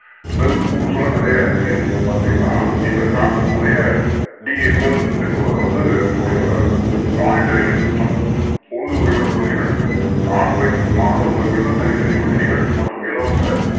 Bell Schools அப்படின்னு நிறைய இருக்கு இந்த Concept முறையை D. A. Bell என்பவர் வந்து கொண்டு வராரு Monitorial System உண்டு உறைவிட பள்ளிகள் ஆண் பெண் மாணவர்களுக்கு தனித்தனி விடுதிகள் மற்றும் இலவச